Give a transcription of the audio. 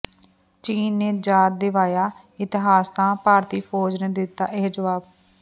ਚੀਨ ਨੇ ਯਾਦ ਦਿਵਾਇਆ ਇਤਿਹਾਸ ਤਾਂ ਭਾਰਤੀ ਫੌਜ ਨੇ ਦਿੱਤਾ ਇਹ ਜਵਾਬ